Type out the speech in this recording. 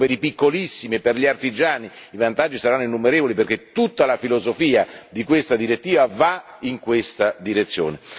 soprattutto per i piccolissimi, per gli artigiani, i vantaggi saranno innumerevoli perché tutta la filosofia di questa direttiva va in questa direzione.